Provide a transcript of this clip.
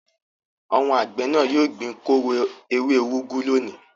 Àwọn àgbẹ̀ náà yóò gbin kóró ewé úgú lónìí.